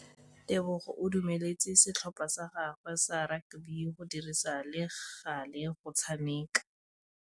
Tebogô o dumeletse setlhopha sa gagwe sa rakabi go dirisa le galê go tshameka.